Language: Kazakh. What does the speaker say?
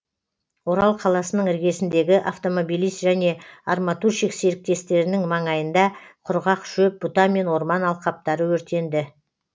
орал қаласының іргесіндегі автомобилист және арматурщик серіктестіктерінің маңайында құрғақ шөп бұта мен орман алқаптары өртенді